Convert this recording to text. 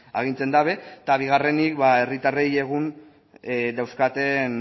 agintzen dute eta bigarrenik ba herritarrek egun ez dauzkaten